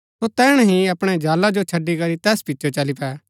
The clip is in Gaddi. सो तैहणै ही अपणै जाला जो छड़ी करी तैस पिचो चली पै